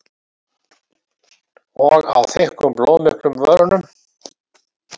Og á þykkum blóðmiklum vörunum.